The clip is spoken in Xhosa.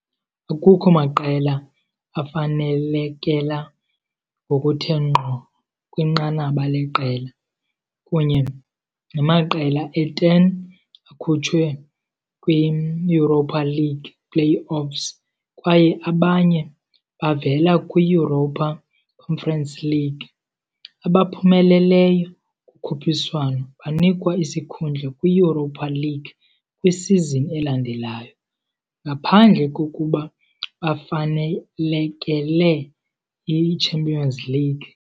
Akukho maqela afanelekela ngokuthe ngqo kwinqanaba leqela, kunye namaqela e-10 akhutshwe kwi-Europa League play-offs kwaye abanye bavela kwi-Europa Conference League. Abaphumeleleyo kukhuphiswano banikwa isikhundla kwi-Europa League kwisizini elandelayo, ngaphandle kokuba bafanelekele i-Champions League.